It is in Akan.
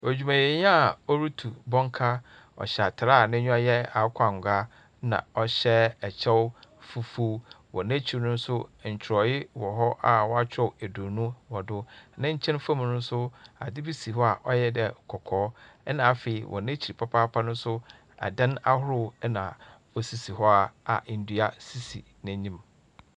Edwumayɛnyi a orutu bɔnka, ɔhyɛ atar a n’enyiwa yɛ akokɔangoa na ɔhyɛ kyɛw fufuw. Wɔ n’ekyir no so, nkyerɛwee wɔ hɔ a wɔakyerɛw eduonu wɔ do. Ne nkyɛn fa mu no so, adze bi si hɔ a ɔyɛ dɛ kɔkɔɔ. Na afei, wɔ n’ekyir papaapa mu no so, adan ahorow na osisi hɔ a ndua sisi n’enyim.